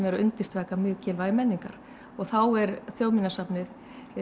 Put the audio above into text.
er að undirstrika mikilvægi menningar og þá er Þjóðminjasafnið